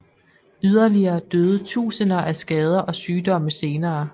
Yderligere døde tusinder af skader og sygdomme senere